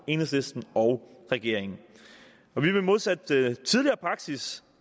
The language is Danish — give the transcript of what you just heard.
enhedslisten og regeringen vi vil modsat tidligere praksis